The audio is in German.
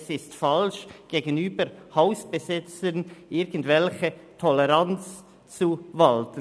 Es ist falsch, gegenüber Hausbesetzern irgendwelche Toleranz walten zu lassen.